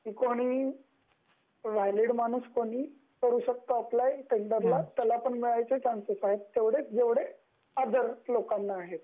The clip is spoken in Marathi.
त्यामुळे कोणी वैलिड माणूस कोणी करू शकतो अप्लाय टेंडरला त्याला पण मिळायचे तेवढेच चांसेस आहे जेवढे अदर लोकांना आहे,